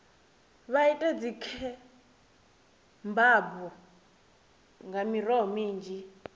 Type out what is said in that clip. vha ite dzikhebabu nga miroho minzhi